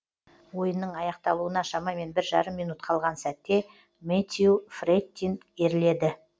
ойынның аяқталуына шамамен бір жарым минут қалған сәтте мэтью фрэттин ерледі